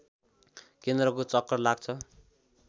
केन्द्रको चक्कर लाग्छ